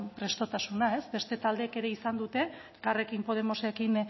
prestutasuna ez beste taldeek ere izan dute elkarrekin podemosekin